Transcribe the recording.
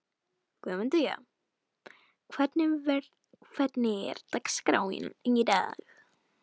Guðmundína, hvernig er dagskráin í dag?